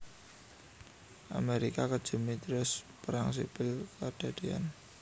Amerga kejemé Thiers Perang Sipil kedadéyan